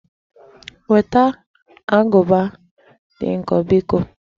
Weta agụba dị nkọ biko!